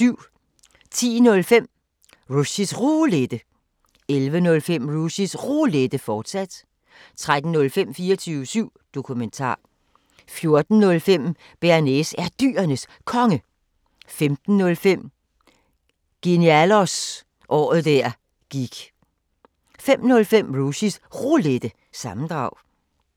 10:05: Rushys Roulette 11:05: Rushys Roulette, fortsat 13:05: 24syv Dokumentar 14:05: Bearnaise er Dyrenes Konge 15:05: Genialos – året der gik 05:05: Rushys Roulette – sammendrag